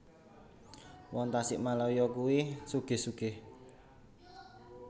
Wong Tasikmalaya kui sugih sugih